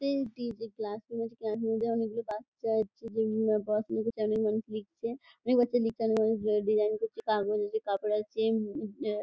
তিনটি যে ক্লাসরুম আছে | ক্লাসরুম -এর মধ্যে অনেকগুলো বাচ্চা আছে | যেগুলো পড়াশুনা করছে অনেক মানুষ লিখছে | অনেক বাচ্চা লিখছে অনেক মানুষ ডিজাইন করছে | আছে। এ-উঃ--